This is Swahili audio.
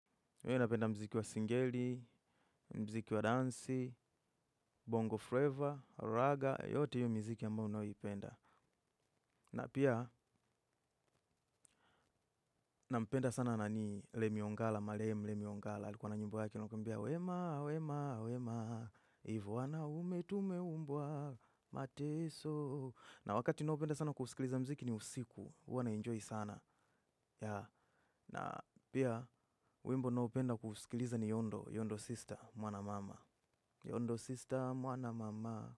Mi napenda mziki wa singeli, mziki wa dansi, bongo flavor, raga, yote hiyo mziki ambayo nayoipenda. Na pia, nampenda sana nani lemi ongala, marehemu, lemi ongala. Alikuwa na nyimbo yake ilokuambia, wema, wema, wema, ivu wanaume tumeumbwa, mateso. Na wakati naopenda sana kusikiliza mziki ni usiku, huwa na enjoy sana. Ya, na pia, wimbo naopenda kusikiliza ni yondo, yondo sister, mwana mama. Yondo sister mwana mama.